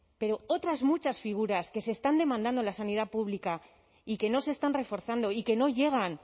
pero otras muchas figuras que se están demandando en la sanidad pública y que no se están reforzando y que no llegan